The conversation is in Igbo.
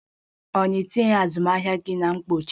A naghị etinye azụmahịa gị na mkpuchi?